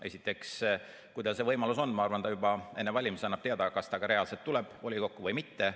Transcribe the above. Esiteks, kui tal see võimalus on, siis ma arvan, et ta annab juba enne valimisi teada, kas ta ka reaalselt tuleb volikokku või mitte.